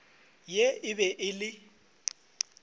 ye e be e le